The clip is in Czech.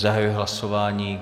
Zahajuji hlasování.